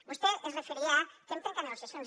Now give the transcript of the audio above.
vostè es referia a que hem trencat negociacions